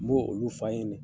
N b'o olu fa ɲɛnɛ.